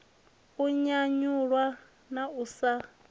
u nyanyulwa na u sa